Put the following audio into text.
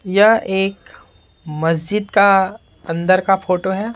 यह एक मस्जिद का अंदर का फोटो है।